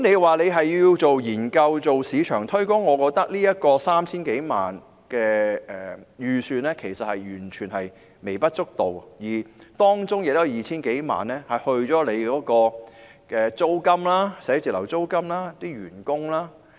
若是要進行研究或市場推廣，我認為 3,000 多萬元的預算其實是完全微不足道的，而且當中的 2,000 多萬元是用於辦公室租金和員工薪酬。